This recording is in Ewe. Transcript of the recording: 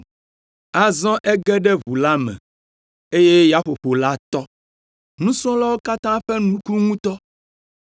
Azɔ ege ɖe ʋu la me, eye yaƒoƒo la tɔ. Nusrɔ̃lawo katã ƒe nu ku ŋutɔ,